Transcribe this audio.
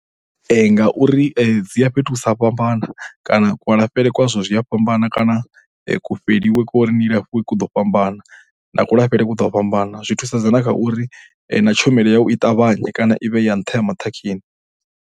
Ngauri dzi ya fhethu hu sa fhambana kana kualafhele kwazwo ku ya fhambana kana kufheliwe kwa u ri ni alafhiwe ku ḓo fhambana. Na kulafhele ku ḓo fhambana, zwi thusedza na kha uri na thusedzo na uri na tshumelo yau i ṱavhanye kana i vhe ya nṱha ya maṱhakheni.